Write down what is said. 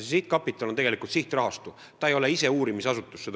See sihtkapital on tegelikult sihtrahastu, see ei ole ise uurimisasutus.